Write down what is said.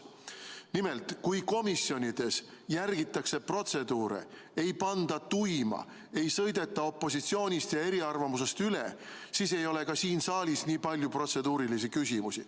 Nimelt, kui komisjonides järgitakse protseduure ega panda tuima, ei sõideta opositsioonist ja eriarvamustest üle, siis ei ole ka siin saalis nii palju protseduurilisi küsimusi.